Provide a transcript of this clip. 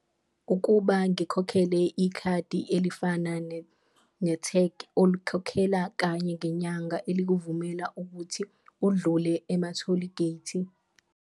Ukuba ngikhokhele ikhadi elifana ne-tag olikhokhelela kanye ngenyanga elikuvumela ukuthi udlule ematholigethi.